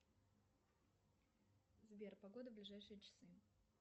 сбер погода в ближайшие часы